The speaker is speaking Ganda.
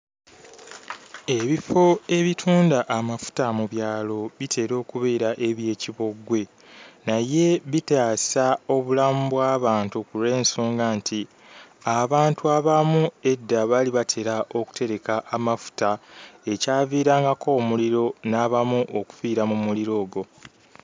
Ebifo ebitunda amafuta mu byalo bitera okubeera eby'ekiboggwe naye bitaasa obulamu bw'abantu ku lw'ensonga nti abantu abamu edda baali batera okutereka amafuta ekyaviirangako omuliro n'abamu okufiira mu muliro ogwo.